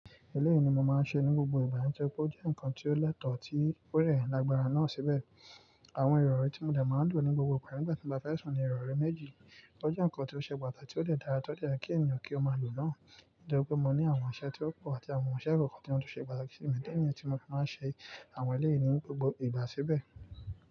Eleyií ni mo máa ń ṣe ní gbogbo ìgbà, nitori pé ó jẹ́ nǹkan tí ó lẹ́tọ̀ọ́ tí ó de lágbára náà síbẹ̀. Àwọn ìrọ̀rí tí mo de máa lò ní gbogbo ìgbà nígbà tí mo bá fẹ́ sùn ni ìrọ̀rí méjì. Ó jẹ́ nǹkan tí ó ṣe pàtàkì tí ó de dára ti o dẹ ye kí ènìyàn kí ó máa lò náà. Nitori pé mo ní àwọn iṣẹ́ tí ó pò àti àwọn iṣẹ́ kọ̀ọ̀kan tí wọ́n tún ṣe pàtàkì sí mi, idi niyii tí mo ṣe àwọn eleyìí ní gbogbo ìgbà síbẹ̀.